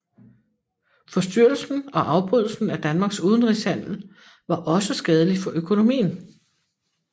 Forstyrrelsen og afbrydelsen af Danmarks udenrigshandel var også skadelig for økonomien